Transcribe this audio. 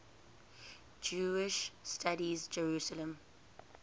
jewish studies jerusalem